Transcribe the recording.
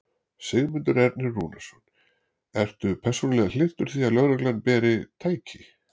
Sigmundur Ernir Rúnarsson: Ertu persónulega hlynntur því að lögreglan beri. tæki?